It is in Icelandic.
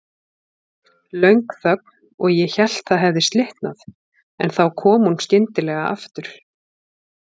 Löng þögn og ég hélt það hefði slitnað, en þá kom hún skyndilega aftur.